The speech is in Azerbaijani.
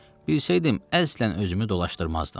Bilsəydim əslən özümü dolaşdırmazdım.